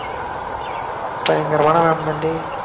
பயங்கரமான ma'am